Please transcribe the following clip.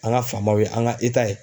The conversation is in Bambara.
An ka faamaw ye an ka ye